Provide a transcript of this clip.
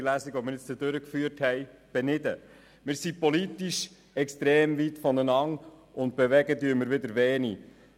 Wir sind politisch extrem weit voneinander entfernt und bewegen wieder wenig.